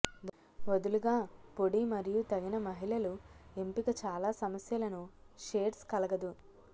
వదులుగా పొడి మరియు తగిన మహిళలు ఎంపిక చాలా సమస్యలను షేడ్స్ కలగదు